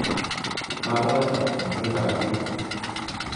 Kakolocho ikwek kap biik